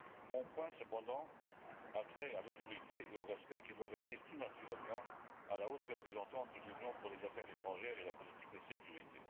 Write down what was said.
Mon point, cependant, a trait à l'autorité et au respect qui doivent revenir tout naturellement à la haute représentante de l'Union pour les affaires étrangères et la politique de sécurité.